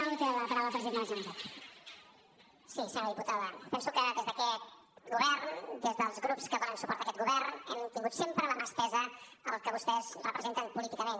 senyora diputada penso que des d’aquest govern des dels grups que donen suport a aquest govern hem tingut sempre la mà estesa al que vostès representen políticament